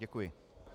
Děkuji.